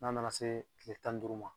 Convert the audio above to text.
N'a nana se tile tan ni duuru ma.